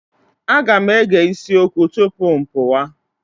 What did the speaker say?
Aga m ege isi okwu tupu pụwa.